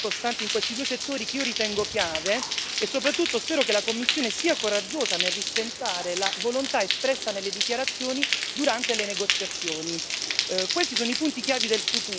Abbiamo bisogno di un impegno più solido e costante in questi due settori, che io ritengo chiave, e soprattutto spero che la Commissione sia coraggiosa nel rispettare la volontà espressa nelle dichiarazioni durante le negoziazioni.